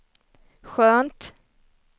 skönt